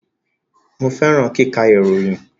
Mo fẹràn kíkà ìròyìn